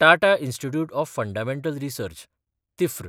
Tata Institute of Fundamental Research (तिफ्र)